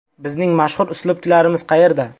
Bizning mashhur uslubchilarimiz qayerda?